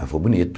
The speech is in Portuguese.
Mas foi bonito.